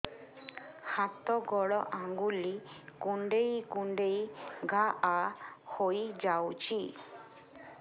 ହାତ ଗୋଡ଼ ଆଂଗୁଳି କୁଂଡେଇ କୁଂଡେଇ ଘାଆ ହୋଇଯାଉଛି